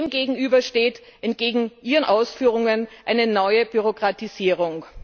Dem gegenüber steht entgegen Ihren Ausführungen eine neue Bürokratisierung.